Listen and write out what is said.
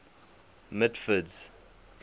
mitford's